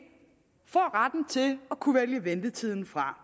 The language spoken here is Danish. får retten til at kunne vælge ventetiden fra